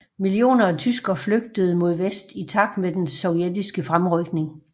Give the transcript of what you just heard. Millioner af tyskere flygtede mod vest i takt med den sovjetiske fremrykning